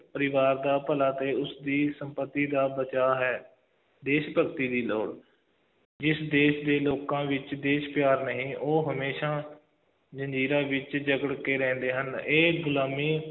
ਪਰਿਵਾਰ ਦਾ ਭਲਾ ਅਤੇ ਉਸਦੀ ਸੰਪਤੀ ਦਾ ਬਚਾਅ ਹੈ, ਦੇਸ਼ ਭਗਤੀ ਦੀ ਲੋੜ, ਜਿਸ ਦੇਸ਼ ਦੇ ਲੋਕਾਂ ਵਿੱਚ ਦੇਸ਼ ਪਿਆਰ ਨਹੀਂ, ਉਹ ਹਮੇਸ਼ਾ ਜ਼ੰਜ਼ੀਰਾਂ ਵਿੱਚ ਜਕੜ ਕੇ ਰਹਿੰਦੇ ਹਨ, ਇਹ ਗੁਲਾਮੀ